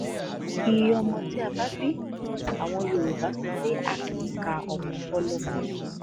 iye ọmọ tá a bí àwọn yorùbá sọ pé a kì í ka ọmọ fọlọmọ